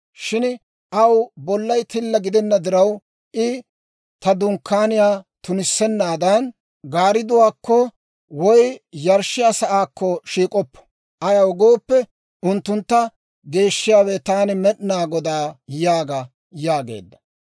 Shin aw bollay tilla gidenna diraw, I ta Dunkkaaniyaa tunissennaadan, gaaridduwaakko woy yarshshiyaa sa'aakko shiik'oppo. Ayaw gooppe, unttuntta geeshshiyaawe taani Med'inaa Godaa yaaga› » yaageedda.